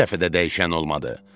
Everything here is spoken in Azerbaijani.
Bu dəfə də dəyişən olmadı.